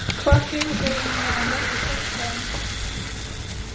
Hvað hefurðu eiginlega á móti sjálfstæðinu?